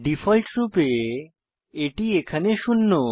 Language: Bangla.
ডিফল্টরূপে এটি এখানে শূন্য